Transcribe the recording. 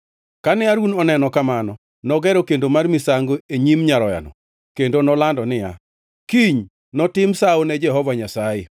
Kane Harun oneno kamano, nogero kendo mar misango e nyim nyaroyano kendo nolando niya, “Kiny notim sawo ne Jehova Nyasaye”